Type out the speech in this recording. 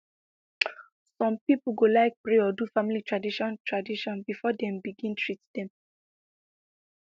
some pipo go like pray or do family tradition tradition before dem begin treat dem